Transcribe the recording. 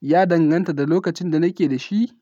Ya danganta da lokacin da nake da shi.